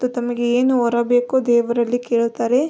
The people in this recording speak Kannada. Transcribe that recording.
ತಮಗೆ ಏನು ವರ ಬೇಕು ದೇವರಲ್ಲಿ ಕೇಳುತ್ತಾರೆ.